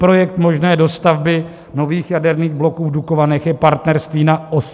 Projekt možné dostavby nových jaderných bloků v Dukovanech je partnerství na 80 let.